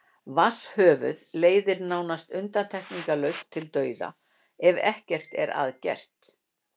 vatnshöfuð leiðir nánast undantekningarlaust til dauða ef ekkert er að gert